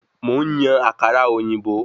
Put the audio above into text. Mò ń yan àkàrà òyìnbó